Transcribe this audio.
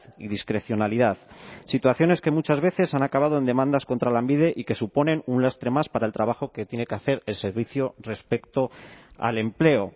y discrecionalidad situaciones que muchas veces han acabado en demandas contra lanbide y que suponen un lastre más para el trabajo que tiene que hacer el servicio respecto al empleo